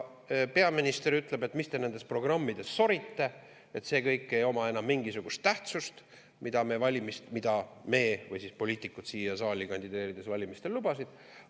Peaminister ütleb, et mis te nendes programmides sorite, see kõik ei oma enam mingisugust tähtsust, mida poliitikud siia saali kandideerides valimistel lubasid.